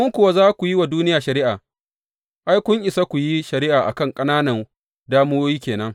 In kuwa za ku yi wa duniya shari’a, ai, kun isa ku yi shari’a a kan ƙananan damuwoyi ke nan.